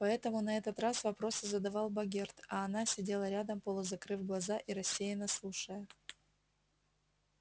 поэтому на этот раз вопросы задавал богерт а она сидела рядом полузакрыв глаза и рассеянно слушая